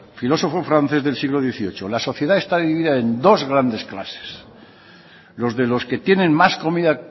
filosofo francés del siglo dieciocho la sociedad está dividida en dos grandes clases los de los que tiene más comida